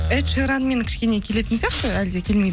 эдшеранмен кішкене келетін сияқты әлде